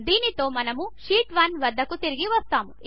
దీనితో మనము షీట్ 1 వద్దకు తిరిగి వస్తాము